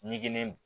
Ɲɛgɛn